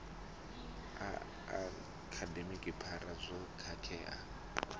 a akademi phara dzo khakhea